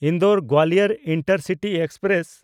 ᱤᱱᱫᱳᱨ-ᱜᱳᱣᱟᱞᱤᱭᱚᱨ intercity express